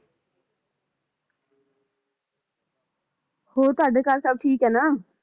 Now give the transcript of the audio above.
ਹੋਰ ਤੁਹਾਡੇ ਘਰ ਸਬ ਠੀਕ ਏ ਨਾ?